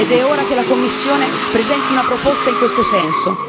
È ora che la Commissione presenti una proposta in questo senso.